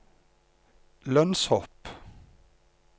lønnshopp